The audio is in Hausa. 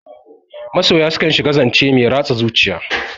Masoya su kan shiga zance mai ratsa zuciya.